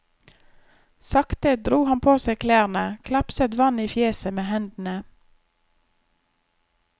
Sakte dro han på seg klærne, klapset vann i fjeset med hendene.